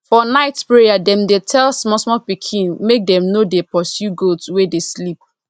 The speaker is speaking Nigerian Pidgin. for night prayer dem dey tell smallsmall pikin make dem no dey pursue goat wey dey sleep